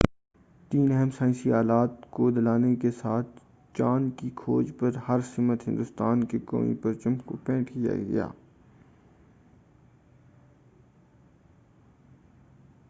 تین اہم سائنسی آلات کو لادنے کے ساتھ چاند کی کھوج پر ہر سمت ہندوستان کے قومی پرچم کو پینٹ کیا گیا تھا